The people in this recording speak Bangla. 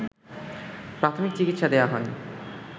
প্রাথমিক চিকিৎসা দেয়া হয়